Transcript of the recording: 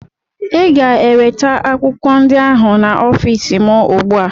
Ị ga-eweta akwụkwọ ndị ahụ n'ọfịs m ugbu a!